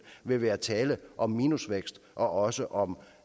vil være tale om minusvækst og også om